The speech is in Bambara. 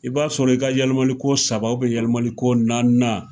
I b'a sɔrɔ i ka yɛlimali ko saba yalimali ko naaninan.